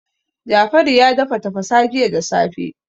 Jafaru ya dafa tafasa jiya da safe.